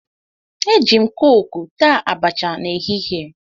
Eji m kooku taa abacha n'ehihie